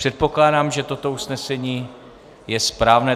Předpokládám, že toto usnesení je správné.